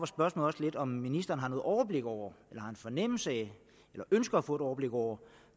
spørgsmål også lidt om ministeren har noget overblik over eller har en fornemmelse af eller ønsker at få et overblik over